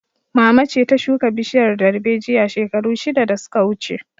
Mama ce ta shuka bishiyar darbejiya shekaru shida da su ka wuce